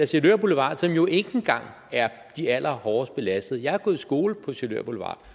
sjælør boulevard som jo ikke engang er det allerhårdest belastede område jeg har gået i skole på sjælør boulevard